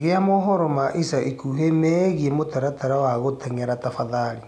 gia mohoro ma ĩca ĩkũhĩ meegĩe mũtaratara ya guteng'era tafadhalĩ